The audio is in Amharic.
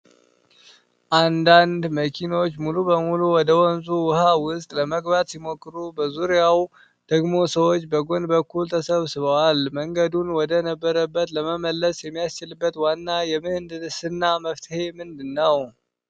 አንዳንድ መኪኖች ሙሉ በሙሉ ወደ ወንዙ ውሃ ውስጥ ለመግባት ሲሞክሩ፣ በዙሪያው ደግሞ ሰዎች በጎን በኩል ተሰብስበዋል። መንገዱን ወደ ነበረበት ለመመለስ የሚቻልበት ዋና የምህንድስና መፍትሄ ምንድን ነው?